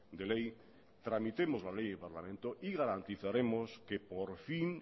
de ley tramitemos la ley de parlamento y garantizaremos que por fin